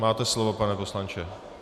Máte slovo, pane poslanče.